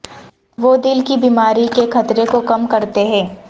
وہ دل کی بیماری کے خطرے کو کم کرتے ہیں